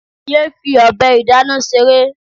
Yéé fi ọbẹ̀ ìdáná ṣeré.